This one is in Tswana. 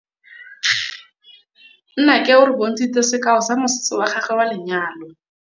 Nnake o re bontshitse sekaô sa mosese wa gagwe wa lenyalo.